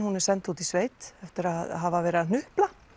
hún er send út í sveit eftir að hafa verið að hnupla